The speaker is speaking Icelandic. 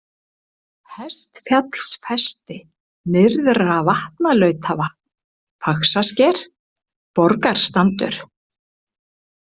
Hestfjallsfesti, Nyrðra-Vatnalautavatn, Faxasker, Borgarstandur